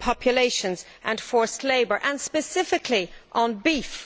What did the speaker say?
populations and forced labour, and specifically on beef.